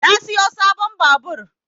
Na siyo sabon babur